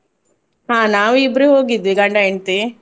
ಹಾ ನಾವಿಬ್ರೆ ಹೋಗಿದ್ವಿ ಗಂಡ ಹೆಂಡ್ತಿ.